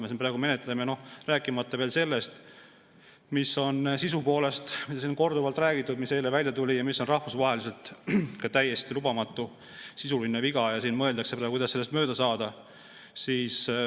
Ma ei räägigi sellest, mis eile välja tuli, mis on sisu poolest halb – sellest on siin korduvalt räägitud, see on ka rahvusvaheliselt täiesti lubamatu sisuline viga ja siin mõeldakse, kuidas sellest mööda saada.